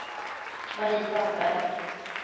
Marie Sandberg